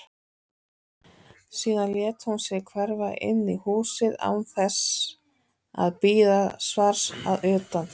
Síðan lét hún sig hverfa inn í húsið án þess að bíða svars að utan.